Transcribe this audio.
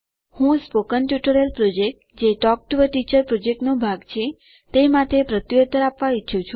હું spoken tutorial project જે talk to a teacher project નો ભાગ છે તે માટે પ્રત્યુત્તર આપવા ઈચ્છું છું